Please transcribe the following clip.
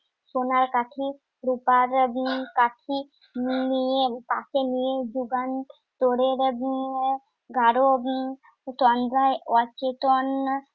সোনার কাঠি রুপার হম কাঠি নিয়ে~ পাশে নিয়ে যুগান্তরের ভিন্ন গাঢ় তন্দ্রায় অচেতন।